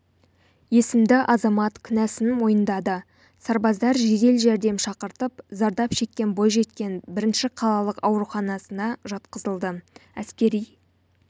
есімді азамат кінәсін мойындады сарбаздар жедел жәрдем шақыртып зардап шеккен бойжеткен бірінші қалалық ауруханасына жатқызылды әскери